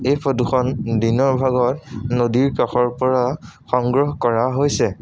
এই ফটো খন দিনৰ ভাগত নদীৰ কাষৰ পৰা সংগ্ৰহ কৰা হৈছে।